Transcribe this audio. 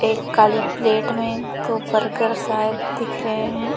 एक काली प्लेट में दो बर्गर शायद दिख रहे है।